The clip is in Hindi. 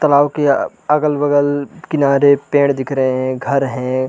तलाउ के अगल - बगल किनारे पेड़ दिख रहै है घर है।